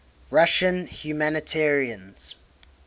russian humanitarians